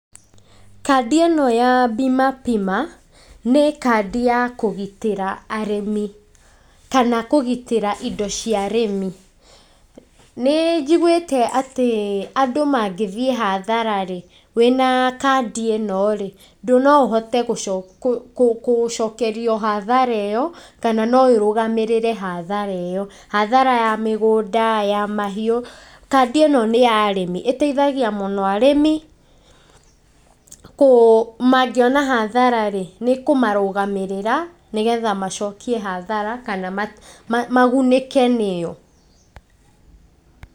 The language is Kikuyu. Kandi ĩno ya BIMA PIMA nĩ kandi ya kũgitĩra arĩmi kana kũgitrĩa ĩndo cia arĩmi, nĩ njiguĩte atĩ andũ mangĩthiĩ hathara wĩna kandi ĩno rĩ no ũhote gũcokerio hathara ĩyo kana no ĩrũmagĩrĩre hathara ĩyo, hathara ya mĩgũnda ya mahiũ kandi ĩno nĩ ya arĩmi, ĩteithagia mũno arĩmi, mangĩona hathara nĩ kũmarũgamĩrĩra nĩgetha macokie hathara kana magunĩke nĩyo.